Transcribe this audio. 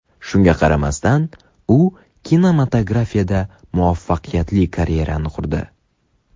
Shunga qaramasdan, u kinematografda muvaffaqiyatli karyerani qurdi.